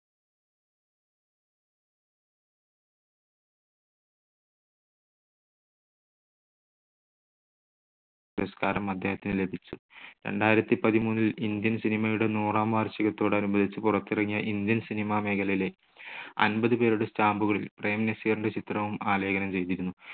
പുരസ്കാരം അദ്ദേഹത്തിന് ലഭിച്ചു. രണ്ടായിരത്തിപതിമൂന്നിൽ ഇന്ത്യൻ cinema യുടെ നൂറാം വാർഷികത്തോടനുബന്ധിച്ച് പുറത്തിറങ്ങിയ ഇന്ത്യൻ cinema മേഖലയിലെ അമ്പത് പേരുടെ stamp കളിൽ പ്രേംനസീറിന്റെ ചിത്രവും ആലേഖനം ചെയ്തിരുന്നു.